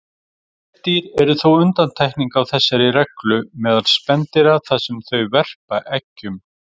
Nefdýr eru þó undantekningin á þessari reglu meðal spendýra þar sem þau verpa eggjum.